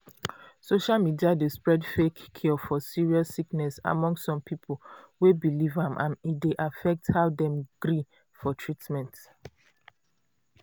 social media d spread fake cure for serious sickness among some people wey believe am and e dey affect how dem gree for treatment.